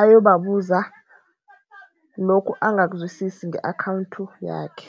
ayobabuza lokhu angakazwisisi nge-akhawunthi yakhe.